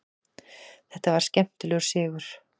Þetta var skemmtilegur sigur.